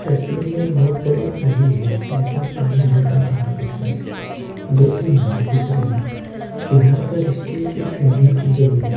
तस्वीर में एक बहुत बड़ी नदी है जिसमें पानी हल्का काला दिख रहा है दो-तीन नाव दिख रही है किनार पर स्टील की फैमिंग की गई है।